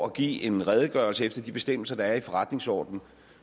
at give en redegørelse efter de bestemmelser der er i forretningsordenen